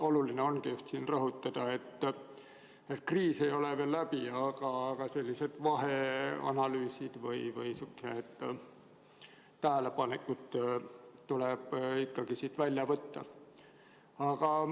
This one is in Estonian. Oluline ongi siin rõhutada, et kriis ei ole veel läbi, aga sellised vaheanalüüsid või tähelepanekud tuleb ikkagi siit teha.